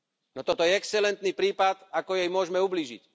No toto je excelentný prípad, ako jej môžeme ublížiť.